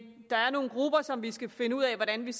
der er nogle grupper som vi skal finde ud af hvordan vi